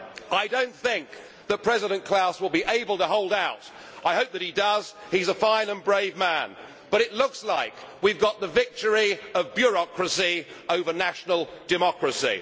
I do not think that President Klaus will be able to hold out, I hope that he does he is a fine and brave man. But it looks like we have got the victory of bureaucracy over national democracy.